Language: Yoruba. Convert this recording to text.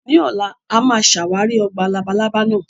Ní ọ̀la, a máa ṣàwárí ọgbà labalábá náà